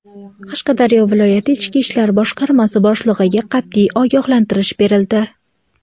Qashqadaryo viloyati ichki ishlar boshqarmasi boshligʼiga qatʼiy ogohlantirish berildi.